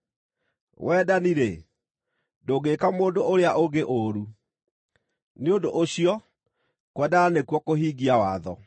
Wendani-rĩ, ndũngĩĩka mũndũ ũrĩa ũngĩ ũũru. Nĩ ũndũ ũcio kwendana nĩkuo kũhingia watho.